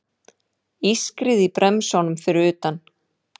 Ískrið í bremsunum fyrir utan.